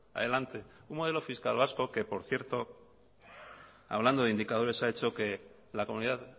adelante un modelo fiscal vasco que por cierto hablando de indicadores ha hecho que la comunidad